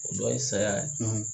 O dɔ ye saya ye.